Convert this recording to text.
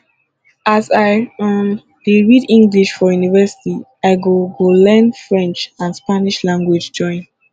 as i um dey read english for university i go go learn french and spanish language join